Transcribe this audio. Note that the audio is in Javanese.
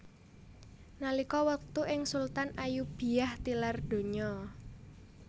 Nalika wektu iku Sultan Ayyubiyah tilar donya